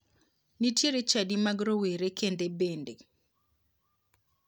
Nitiero chadi mag rowere kende bende.